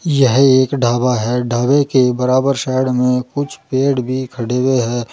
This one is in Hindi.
यह एक ढाबा है ढाबे के बराबर साइड में कुछ पेड़ भी खड़े हुए है।